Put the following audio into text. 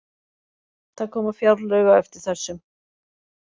Það koma fjárlög á eftir þessum